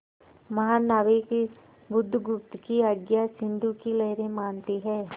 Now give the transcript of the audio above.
महानाविक बुधगुप्त की आज्ञा सिंधु की लहरें मानती हैं